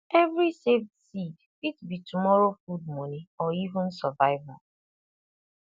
every saved seed fit be tomorrow food money or even survival